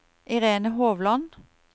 Irene Hovland